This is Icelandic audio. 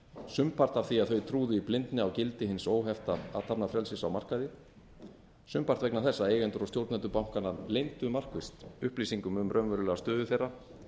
sumpart af því að þau trúi í blindni á gildi hins óhefta athafnafrelsis á markaði sumpart vegna þess að eigendur og stjórnendur bankanna leyndu markvisst upplýsingum um raunverulega stöðu þeirra